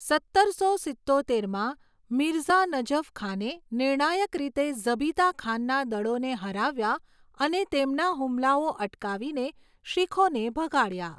સત્તરસો સિત્તોતેરમાં, મિર્ઝા નજફ ખાને નિર્ણાયક રીતે ઝબિતા ખાનના દળોને હરાવ્યા અને તેમના હુમલાઓ અટકાવીને શીખોને ભગાડ્યા.